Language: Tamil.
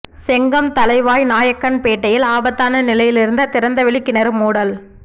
செங்கம் தளவாய் நாயக்கன் பேட்டையில் ஆபத்தான நிலையில் இருந்த திறந்தவெளி கிணறு மூடல்